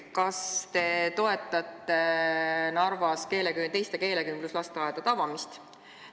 Kas te toetate Narvas teiste keelekümbluslasteaedade avamist?